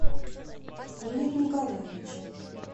игоря николаевича